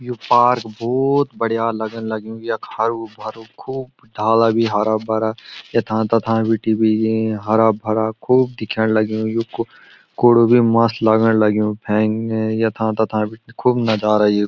यु park भोत बढ़िया लगन लग्युं यख हरु भरो खूब डाला भी हारा भरा यथां तथां बीटी भी ये हरा भरा खूब दिखेण लग्युं युकु कुडू भी मस्त लगण लग्युं फेंग यथा तथा बीटी खूब नजारा येकू।